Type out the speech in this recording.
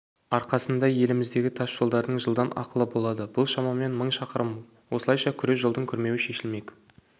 арқасында еліміздегі тасжолдардың жылдан ақылы болады бұл шамамен мың шақырым осылайша күре жолдың күрмеуі шешілмек